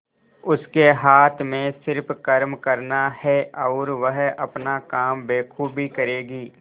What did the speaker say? उसके हाथ में सिर्फ कर्म करना है और वह अपना काम बखूबी करेगी